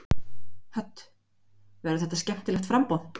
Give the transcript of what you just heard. Hödd: Verður þetta skemmtilegt framboð?